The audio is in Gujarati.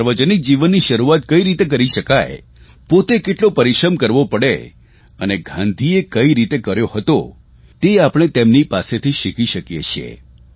સાર્વજનિક જીવનની શરૂઆત કઇ રીતે કરી શકાય પોતે કેટલો પરિશ્રમ કરવો પડે અને ગાંધીએ કઇ રીતે કર્યો હતો તે આપણે તેમની પાસેથી શીખી શકીએ છીએ